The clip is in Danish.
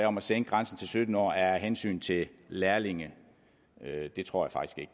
om at sænke grænsen til sytten år er af hensyn til lærlinge det tror